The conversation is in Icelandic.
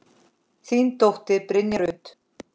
Þín dóttir, Brynja Rut.